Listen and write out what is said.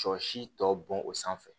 Sɔ si tɔ bɔn o sanfɛ